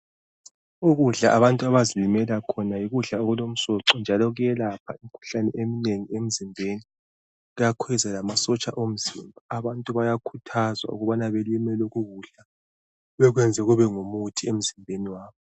Ukudla abantu abazilimela khona yikudla okulomsoco njalo kuyelapha imkhuhlane eminengi emzimbeni, kuyakhweza lamasotsha omzimba. Abantu bayakhuthazwa ukubana belime lokho kudla bekwenze kube ngumuthi emzimbeni yabo.